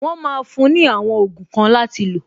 Wọn máa fún ní àwọn ogun kan láti lo